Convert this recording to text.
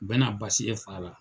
Bɛ basi ye fa la.